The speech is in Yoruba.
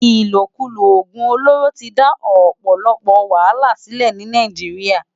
Ilókúló ógún ólóró ti dá òpòlòpò wàhálá silè ni Nàijiriá